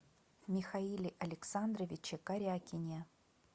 михаиле александровиче корякине